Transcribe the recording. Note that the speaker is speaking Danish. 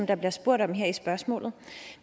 der bliver spurgt om her i spørgsmålet